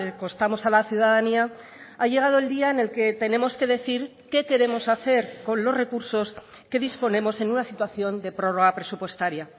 costamos a la ciudadanía ha llegado el día en el que tenemos que decir qué queremos hacer con los recursos qué disponemos en una situación de prórroga presupuestaria